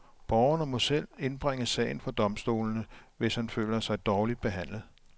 Borgeren må selv indbringe sagen for domstolene, hvis han føler sig dårligt behandlet.